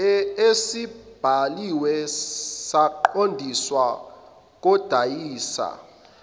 esibhaliwe saqondiswa kodayisa